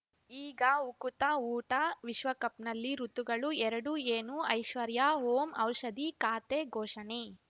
ಈಗ ಉಕುತ ಊಟ ವಿಶ್ವಕಪ್‌ನಲ್ಲಿ ಋತುಗಳು ಎರಡು ಏನು ಐಶ್ವರ್ಯಾ ಓಂ ಔಷಧಿ ಖಾತೆ ಘೋಷಣೆ